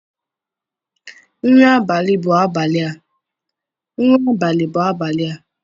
Nri abalị bụ abalị a.